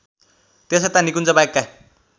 त्यसयता निकुञ्जबाहेकका